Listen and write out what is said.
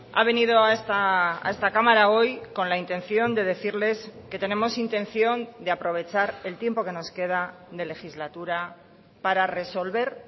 ha venido a esta cámara hoy con la intención de decirles que tenemos intención de aprovechar el tiempo que nos queda de legislatura para resolver